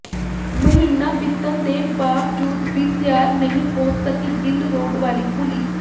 ਮਹੀਨਾ ਬੀਤਣ ਦੇ ਬਾਵਜੂਦ ਵੀ ਤਿਆਰ ਨਹੀਂ ਹੋ ਸਕੀ ਗਿੱਲ ਰੋਡ ਵਾਲੀ ਪੁਲੀ